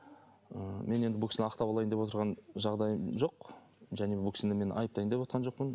ы мен енді бұл кісіні ақтап алайын деп отырған жағдайым жоқ және бұл кісіні мен айыптайын деп отырған жоқпын